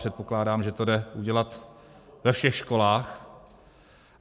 Předpokládám, že to jde udělat ve všech školách.